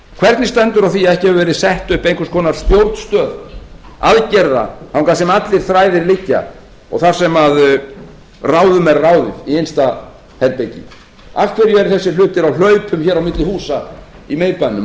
hvernig stendur á því að ekki hefur verið sett upp einhvers konar stjórnstöð aðgerða þangað sem allir þræðir liggja og þar sem ráðið er ráðum í innsta herbergi af hverju eru þessir hlutir á hlaupum á milli húsa í miðbænum